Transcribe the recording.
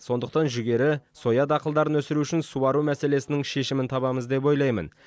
сондықтан жүгері соя дақылдарын өсіру үшін суару мәселесінің шешімін табамыз деп ойлаймын